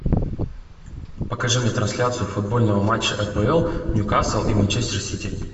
покажи мне трансляцию футбольного матча апл ньюкасл и манчестер сити